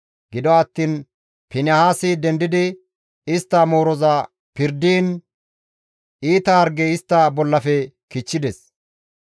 Gido attiin Finihaasi dendidi istta mooroza pirdiin iita hargey istta bollafe kichchides.